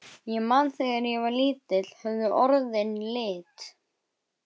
Ég man að þegar ég var lítill höfðu orðin lit.